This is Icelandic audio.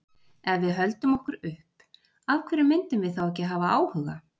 Ef við höldum okkur upp, af hverju myndum við þá ekki hafa áhuga?